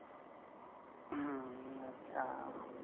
हं, अच्छा.